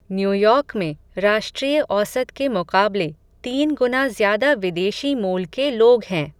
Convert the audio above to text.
New York में राष्ट्रीय औसत के मुक़ाबले तीन गुना ज़्यादा विदेशी मूल के लोग हैं.